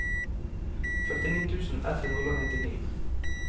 førtini tusen ett hundre og nittini